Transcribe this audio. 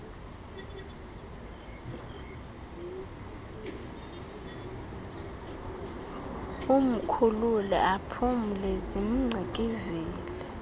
umkhulule aphumle zimngcikivile